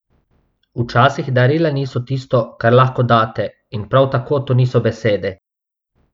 Včasih darila niso tisto, kar lahko date, in prav tako to niso besede.